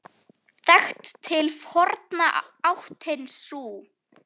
Þekkt til forna áttin sú.